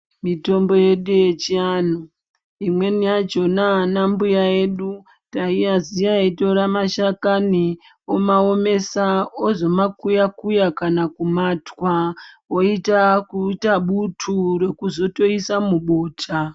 Mitombo yedu yechiantu imweni yachona ana mbuya edu taiyaziya eyitora mashakani omawomesa ozoma kuya kuya kanakumatwa oita kuita butu rekuzoisa mubota.